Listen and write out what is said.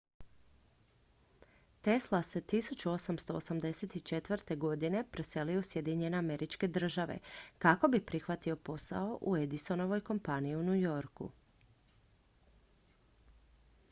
tesla se 1884. preselio u sjedinjene američke države kako bi prihvatio posao u edisonovoj kompaniji u new yorku